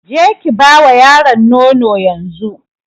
Ki je Ki ba wa yaron nono yanzu.